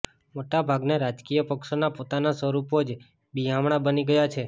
મોટા ભાગના રાજકીય પક્ષોના પોતાનાં સ્વરૂપો જ બિહામણાં બની ગયાં છે